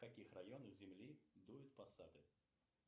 в каких районах земли дуют пассаты